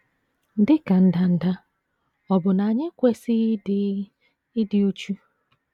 Dị ka ndanda, ọ̀ bụ na anyị ekwesịghị ịdị ịdị uchu?